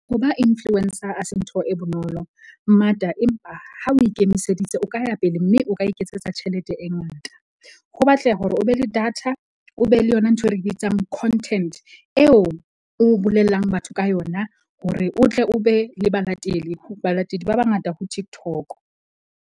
Ho ba influencer a se ntho e bonolo mmata, empa ha o ikemiseditse o ka ya pele. Mme o ka iketsetsa tjhelete e ngata, ho batleha hore o be le data, o be le yona ntho e re bitsang content, eo o bolellang batho ka yona hore o tle o be le balatedi. Balatedi ba bangata ho TikTok-o.